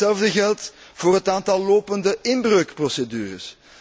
Hetzelfde geldt voor het aantal lopende inbreukprocedures.